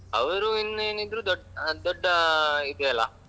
ಅವರು ಇನ್ನು ಏನಿದ್ರು ದೊಡ್ ಅಹ್ ದೊಡ್ಡ ಅಹ್ ಇದೆಯಲ್ಲಾ.